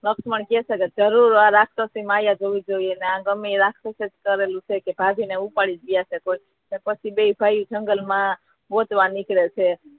લક્ષ્મણ કહે છે કે જરુર આ રાક્ષસી માયા હોવી જોઈએ છે આ ગમે એ રાક્ષસે જ કરેલું હશે કે ભાભી ને ઉપાડી જ ગયા છે કોઈ પછી બે ભાઈ જંગલ મા ગોતવા નીકળે છે